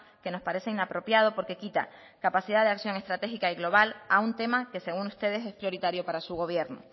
que nos parece inapropiado porque quita la capacidad de acción estratégica y global a un tema que según ustedes es prioritario para su gobierno